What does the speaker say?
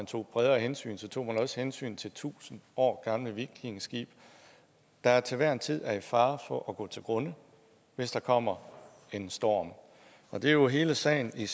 tog bredere hensyn tog man også hensyn til tusind år gamle vikingeskibe der til hver en tid er i fare for at gå til grunde hvis der kommer en storm og det er jo hele sagen i